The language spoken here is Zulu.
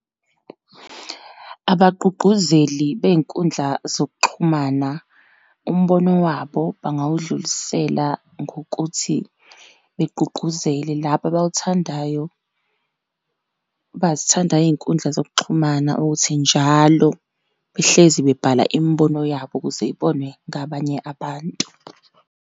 Abagqugquzeli beyinkundla zokuxhumana, umbono wabo bangawudlulisela ngokuthi begqugqquzele labo abawuthandayo, abazithandayo iy'nkundla zokuxhumana, ukuthi njalo behlezi bebhala imibono yabo ukuze ibonwe ngabanye abantu.